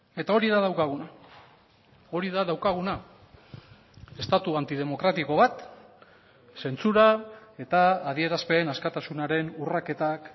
eta hori da daukaguna hori da daukaguna estatu antidemokratiko bat zentsura eta adierazpen askatasunaren urraketak